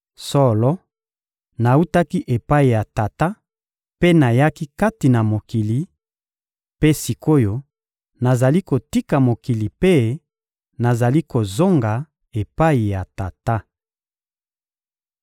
Solo, nawutaki epai ya Tata mpe nayaki kati na mokili; mpe sik’oyo, nazali kotika mokili mpe nazali kozonga epai ya Tata.